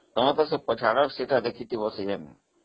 ତମେ ତ ସେ ପଛ ଆଡ ଦେଖିଥବ